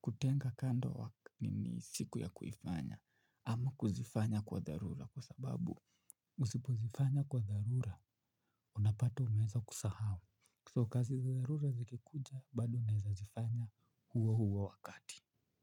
kutenga kando nini siku ya kufanya, ama kuzifanya kwa dharura kwa sababu usipozifanya kwa dharura, unapata umeanza kusahau, so kazi za dharura zikikuja bado unaeza zifanya huo huo wakati.